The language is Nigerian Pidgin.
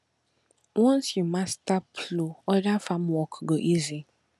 once you master plow other farm work go easy